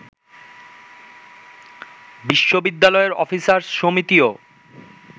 বিশ্ববিদ্যালয়ের অফিসার সমিতিও